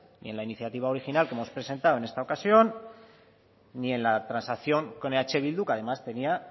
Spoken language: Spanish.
ni en la iniciativa original que hemos presentado en esta ocasión ni en la transacción con eh bildu que además tenía